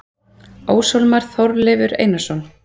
Óshólmar: Þorleifur Einarsson.